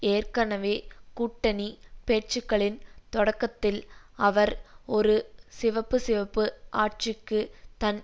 ஏற்கனவே கூட்டணி பேச்சுக்களின் தொடக்கத்தில் அவர் ஒரு சிவப்புசிவப்பு ஆட்சிக்கு தன்